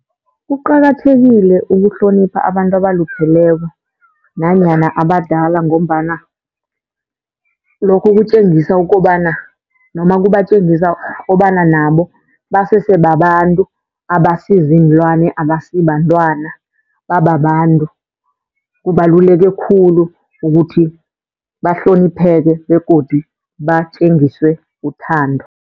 Kuqakathekile ukuhlonipha abantu abalupheleko nanyana abadala, ngombana lokho kutjengisa ukobana noma kubatjengisa kobana nabo basesebabantu abasiziinlwane, abasibantwana bababantu. Kubaluleke khulu ukuthi bahlonipheke begodu batjengiswe uthando.